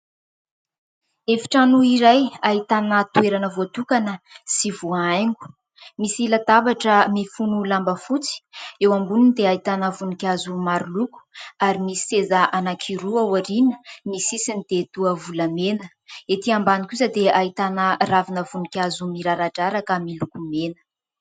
Efitrano iray ahitana toerana voatokana sy voahaingo, misy latabatra mifono lamba fotsy eo amboniny dia ahitana voninkazo maro loko ary misy seza anankiroa ao aoriana, ny sisiny dia toa volamena. Ety ambany kosa dia ahitana ravina voninkazo miraradraraka miloko mena.